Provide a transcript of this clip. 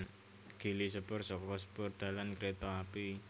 Gili sepur saka spoor dalan kereta api